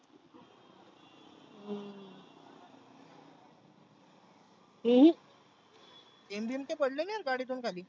हम्म हिंदी आणि ते पडले नाही यार गाडीतून खाली.